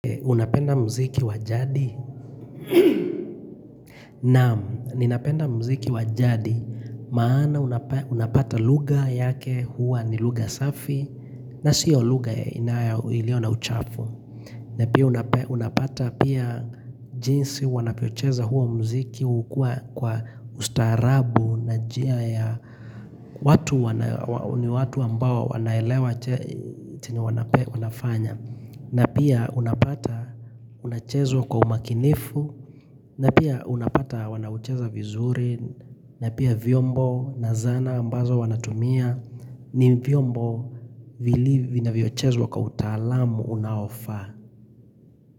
Unapenda mziki wajadi? Naam, ninapenda mziki wajadi maana unapata lugha yake huwa ni luga safi na siyo lugha iliona uchafu. Na pia unapata pia jinsi wanapocheza huo mziki hukuwa kwa ustaarabu na njia ya watu wana ni watu ambao wanaelewa chenye wanafanya. Na pia unapata unachezwa kwa umakinifu. Na pia unapata wanaucheza vizuri. Na pia vyombo na zana ambazo wanatumia. Ni vyombo vinavyo chezwa kwa utaalamu unaofaa.